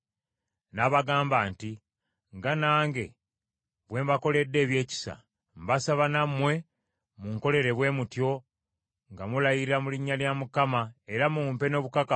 N’abagamba nti, “Nga nange bwe mbakoledde ebyekisa, mbasaba nammwe munkolere bwe mutyo nga mulayira mu linnya lya Mukama era mumpe n’obukakafu